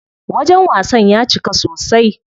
Wajen wasan ya cika sosai.